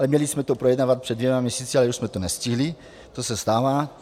Ale měli jsme to projednávat před dvěma měsíci, ale už jsme to nestihli, to se stává.